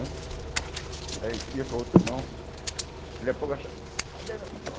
Aí ia com a outra mão, dali a pouco achando, cadê meu?